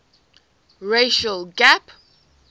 racial gap